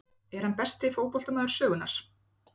Er hann besti fótboltamaður sögunnar?